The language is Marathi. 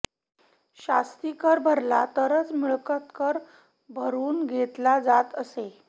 शास्तीकर भरला तरच मिळकत कर भरुन घेतला जात असे